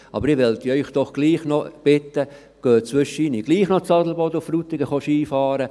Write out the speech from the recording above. Aber ich möchte Sie bitten, gleichwohl ab und zu in Frutigen und Adelboden Ski zu fahren.